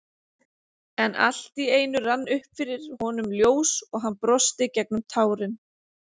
En allt í einu rann upp fyrir honum ljós og hann brosti gegnum tárin.